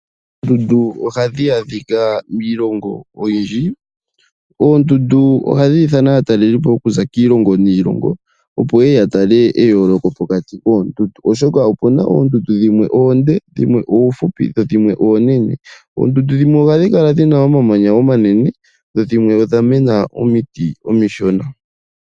Oondundu ohadhi adhika miilongo oyindji. Oondundu ohadhi ithana aatalelipo okuza kiilongo niilongo, opo yeye ya tale eyooloko pokati koondundu ,oshoka opuna oondundu dhimwe oonde dhimwe oofupi dho dhimwe oonene. Oondundu dhimwe ohadhi kala dhina omamanya omanene dho dhimwe odha mena omiti omishona.